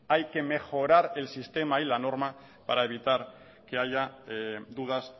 hay que mejorar el sistema y la norma para evitar que haya dudas